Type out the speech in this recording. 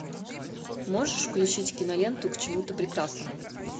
можешь включить киноленту к чему то прекрасному